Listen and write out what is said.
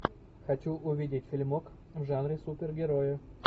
хочу увидеть фильмок в жанре супер герои